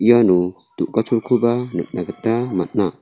iano du·gacholkoba nikna gita man·a.